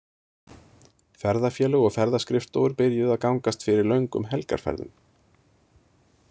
Ferðafélög og ferðaskrifstofur byrjuðu að gangast fyrir löngum helgarferðum.